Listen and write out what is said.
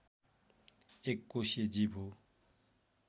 एककोषिय जीव हो